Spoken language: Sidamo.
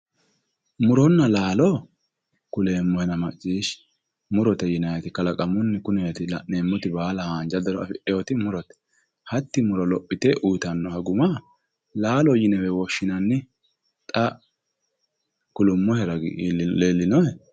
Muronna laalo kuleemmohena maccishshi, murote yinayiiti kalaqamunni kuneeti la'neemmoti baala haanja daro afidhewooti murote. Hatti muro lophite uuyiitannoha guma laalote yinewe woshshinanni. Xa kulummohe ragi leellinohe.